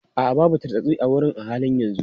A'a, babu tartsatsi a wurin a halin yanzu.